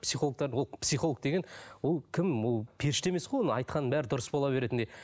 психологтар ол психолог деген ол кім ол періште емес қой оның айтқанының бәрі дұрыс бола беретіндей